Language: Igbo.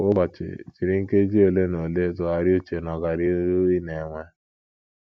Kwa ụbọchị, jiri nkeji ole na ole tụgharịa uche n’ọganihu ị na - enwe.